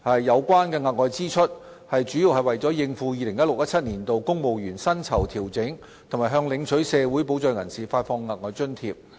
有關的額外支出，主要是為了應付 2016-2017 年度公務員薪酬調整及向領取社會保障人士發放額外津貼。